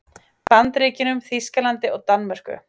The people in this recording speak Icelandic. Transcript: Bandaríkjunum, Þýskalandi og Danmörku.